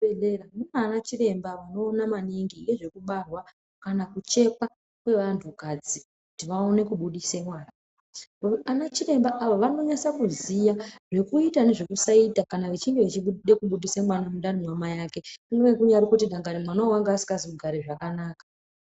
Muzvibhehlera muna ana chiremba vanoona maningi ngezve kubarwa kana kuchekwa kwevantukadzi kuti vaone kubudise mwana ana ava vanonese kuziya zvekuita nezvekusaita kana vachinge veida kubudisa mwana mundani mwamai ake kumweni kurikazi mwana uyu wanga asikazi kugare zvakanaka.